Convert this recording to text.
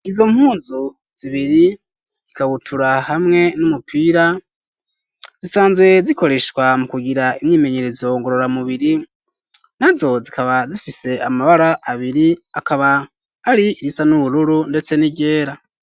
Izo mpunzu zibiri ikabutura hamwe n'umupira zisanzwe zikoreshwa mu kugira imyimenyerezo ngorora mubiri nazo zikaba zifise amabara abiri akaba ari irisa n'ubururu ndetse n'iryera.